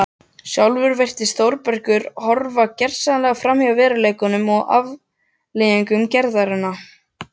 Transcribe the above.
Sjálfur virðist Þórbergur horfa gersamlega framhjá veruleikanum og afleiðingum gerðanna.